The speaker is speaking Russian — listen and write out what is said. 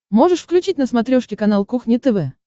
можешь включить на смотрешке канал кухня тв